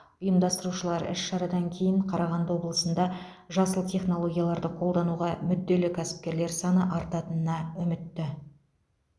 ұйымдастырушылар іс шарадан кейін қарағанды облысында жасыл технологияларды қолдануға мүдделі кәсіпкерлер саны артатынына үмітті